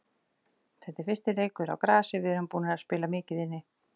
Þetta er fyrsti leikur á grasi, við erum búnir að spila mikið inni.